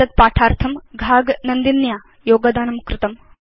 एतद् पाठार्थं घाग नन्दिन्या योगदानं कृतम्